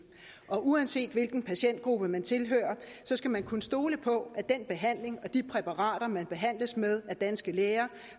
og uanset hvilken patientgruppe man tilhører skal man kunne stole på at den behandling og de præparater man behandles med af danske læger